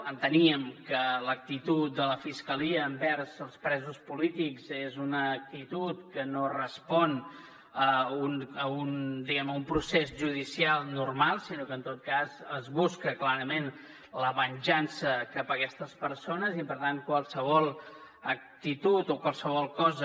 enteníem que l’actitud de la fiscalia envers els presos polítics és una actitud que no respon diguem ne a un procés judicial normal sinó que en tot cas es busca clarament la venjança cap a aquestes persones i per tant qualsevol actitud o qualsevol cosa